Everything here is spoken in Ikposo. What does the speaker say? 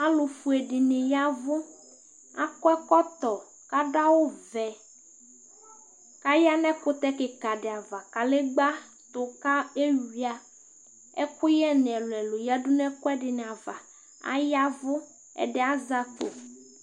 alofue dini yavu akɔ ɛkɔtɔ k'ado awu vɛ k'aya n'ɛkutɛ keka di ava kadegba to k'ewia ɛkoyɛ ni ɛlu ɛlu yadu n'ɛkoɛdini ava ayavu ɛdi azɛ akpo